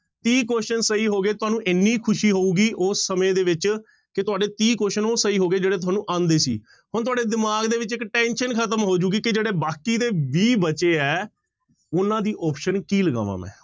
ਤੀਹ question ਸਹੀ ਹੋ ਗਏ, ਤੁਹਾਨੂੰ ਇੰਨੀ ਖ਼ੁਸ਼ੀ ਹੋਊਗੀ ਉਸ ਸਮੇਂ ਦੇ ਵਿੱਚ ਕਿ ਤੁਹਾਡੇ ਤੀਹ question ਉਹ ਸਹੀ ਹੋ ਗਏ ਜਿਹੜੇ ਤੁਹਾਨੂੰ ਆਉਂਦੇ ਸੀ, ਹੁਣ ਤੁਹਾਡੇ ਦਿਮਾਗ ਦੇ ਵਿੱਚ ਇੱਕ tension ਖ਼ਤਮ ਹੋ ਜਾਊਗੀ ਕਿ ਜਿਹੜੇ ਬਾਕੀ ਦੇ ਵੀਹ ਬਚੇ ਹੈ, ਉਹਨਾਂ ਦੀ option ਕੀ ਲਗਾਵਾਂ ਮੈਂ।